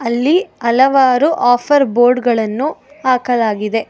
ಅಲ್ಲಿ ಹಲವಾರು ಆಫರ್ ಬೋರ್ಡಗಳನ್ನು ಹಾಕಲಾಗಿದೆ.